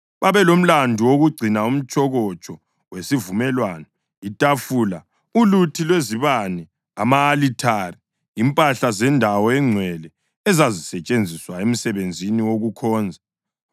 Babelomlandu wokugcina umtshokotsho wesivumelwano, itafula, uluthi lwezibane, ama-alithare, impahla zendawo engcwele ezazisetshenziswa emsebenzini wokukhonza.